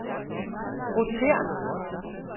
rotér